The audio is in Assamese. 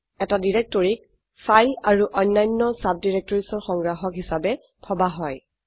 এটি ডিৰেক্টৰকীক ফাইল আৰু অন্যান্য ডাইৰেক্টৰিজ ৰ সংগ্ৰাহক হিসাবে ভাবা হয়